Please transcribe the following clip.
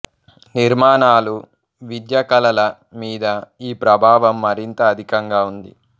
నిర్మాణాలు విద్య కళల మీద ఈ ప్రభావం మరింత అధికంగా ఉంది